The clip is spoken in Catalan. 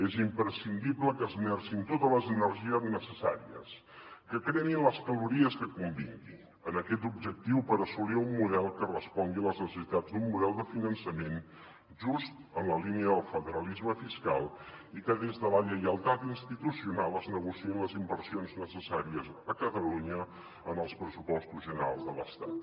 és imprescindible que esmercin totes les energies necessàries que cremin les calories que convinguin en aquest objectiu per assolir un model que respongui a les necessitats d’un model de finançament just en la línia del federalisme fiscal i que des de la lleialtat institucional es negociïn les inversions necessàries a catalunya en els pressupostos generals de l’estat